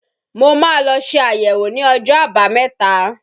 Mo ma lọ ṣe àyẹ̀wò ní ọjọ́ àbámẹ̀ta.